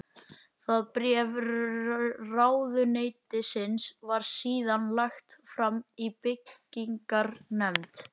Það bréf ráðuneytisins var síðan lagt fram í byggingarnefnd